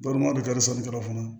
Bari o de kadi surun tɔɔrɔ fana